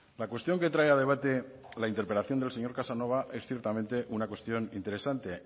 la cuestión que trae a debate la interpelación del señor casanova es ciertamente una cuestión interesante